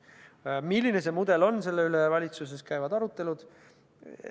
Selle üle, milline see mudel on, käivad valitsuses arutelud.